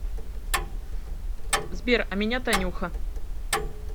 сбер а меня танюха